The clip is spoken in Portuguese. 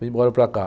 Vim embora para cá.